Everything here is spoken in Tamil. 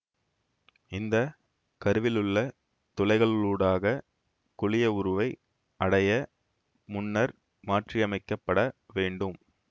இந்த கருவிலுள்ள துளைகளூடாக குழியவுருவை அடைய முன்னர் மாற்றியமைக்கப்பட வேண்டும்